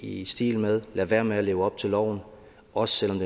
i stil med lad være med at leve op til loven også selv om